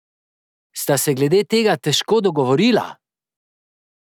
Sta se glede tega težko dogovorila?